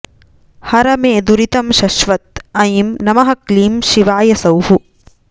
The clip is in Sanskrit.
हर मे दुरितं शश्वत् ऐं नमः क्लीं शिवाय सौः